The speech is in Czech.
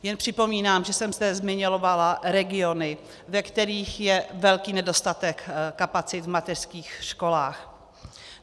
Jen připomínám, že jsem zde zmiňovala regiony, ve kterých je velký nedostatek kapacit v mateřských školách.